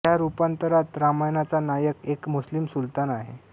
या रूपांतरात रामायणाचा नायक एक मुस्लिम सुलतान आहे